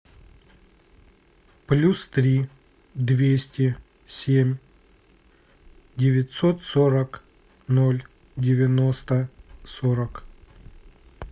плюс три двести семь девятьсот сорок ноль девяносто сорок